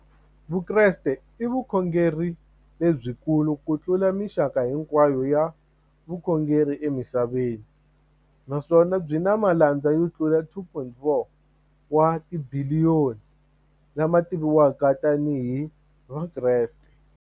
Vukreste i vukhongeri lebyi kulu kutlula mixaka hinkwayo ya vukhongeri emisaveni, naswona byi na malandza yo tlula 2.4 wa tibiliyoni, la ma tiviwaka tani hi Vakreste.